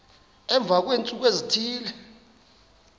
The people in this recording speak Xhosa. emva kweentsuku ezithile